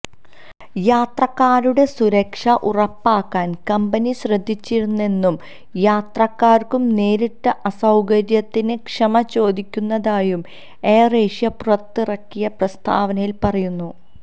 യാത്രക്കാരുടെ സുരക്ഷ ഉറപ്പാക്കാന് കമ്പനി ശ്രദ്ധിച്ചിരുന്നെന്നും യാത്രക്കാര്ക്ക് നേരിട്ട അസൌകര്യത്തിന് ക്ഷമ ചോദിക്കുന്നതായും എയർ ഏഷ്യ പുറത്തിറക്കിയ പ്രസ്താവനയിൽ പറയുന്നു